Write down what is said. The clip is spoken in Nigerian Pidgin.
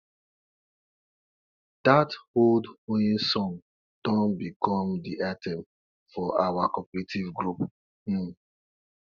dat old hoeing song don become de anthem for our cooperative group um